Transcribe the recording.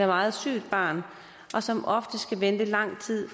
meget sygt barn og som oftest skal vente lang tid